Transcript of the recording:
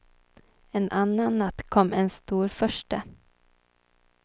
En annan natt kom en storfurste.